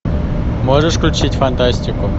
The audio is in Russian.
можешь включить фантастику